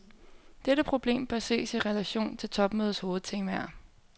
Dette problem bør ses i relation til topmødets hovedtemaer.